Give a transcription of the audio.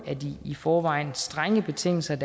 af de i forvejen strenge betingelser